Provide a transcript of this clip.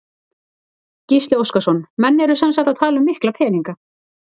Gísli Óskarsson: Menn eru sem sagt að tala um mikla peninga?